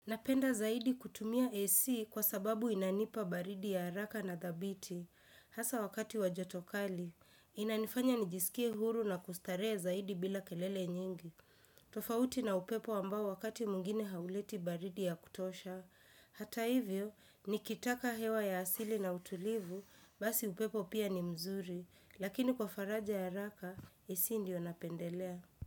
Napenda zaidi kutumia AC kwa sababu inanipa baridi ya haraka na dhabiti. Hasa wakati wa joto kali. Inanifanya nijisikie huru na kustarehe zaidi bila kelele nyingi. Tofauti na upepo ambao wakati mwingine hauleti baridi ya kutosha. Hata hivyo, nikitaka hewa ya asili na utulivu, basi upepo pia ni mzuri. Lakini kwa faraja ya haraka, AC ndio napendelea.